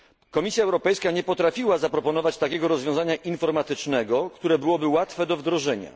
Komisja Europejska nie potrafiła zaproponować takiego rozwiązania informatycznego, które byłoby łatwe do wdrożenia.